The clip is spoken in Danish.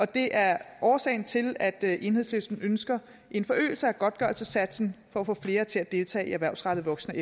det er årsagen til at enhedslisten ønsker en forøgelse af godtgørelsessatsen for at få flere til at deltage i erhvervsrettet voksen og